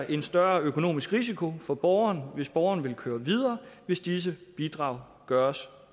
en større økonomisk risiko for borgeren hvis borgeren vil køre videre hvis disse bidrag gøres